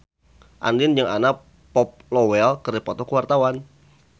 Andien jeung Anna Popplewell keur dipoto ku wartawan